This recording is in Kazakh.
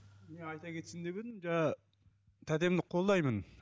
мен айта кетсем деп едім жаңағы тәтемді қолдаймын